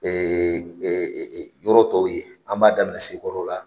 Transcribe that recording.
yɔrɔ tɔw ye, an b'a daminɛ si kɔrɔ la